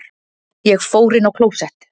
Ég fór inn á klósett.